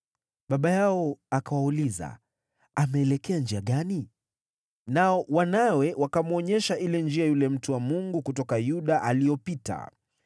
Baba yao akawauliza, “Ameelekea njia gani?” Nao wanawe wakamwonyesha ile njia yule mtu wa Mungu kutoka Yuda aliyopita.